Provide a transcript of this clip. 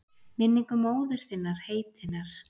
Minningu móður þinnar heitinnar?